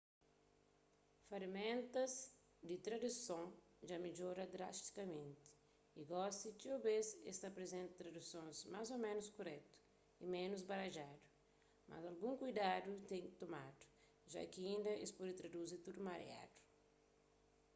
feraméntas di traduson dja midjora drastikamenti y gosi txeu bês es ta aprizenta tradusons más ô ménus kuretu y ménus baradjadu mas algun kuidadu ten ki tomadu ja ki inda es pode traduzi tudu mariadu